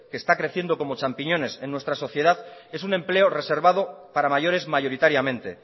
que está creciendo como champiñones en nuestra sociedad es un empleo reservado para mayores mayoritariamente